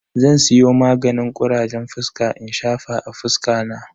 Zan siyo maganin kurajen fuska in shafa a fuska na.